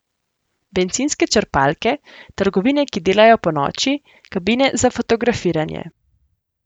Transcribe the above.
Bencinske črpalke, trgovine, ki delajo ponoči, kabine za fotografiranje.